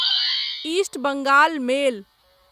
east Bengal मेल